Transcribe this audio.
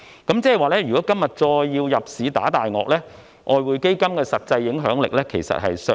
換言之，如果今天要再入市"打大鱷"，外匯基金的實際影響力其實已見削弱。